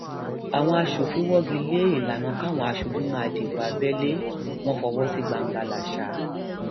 àwọn aṣòfin wọgi lé ìlànà káwọn aṣojú máa dìbò abẹlé wọn fọwọ sí gbangbalasa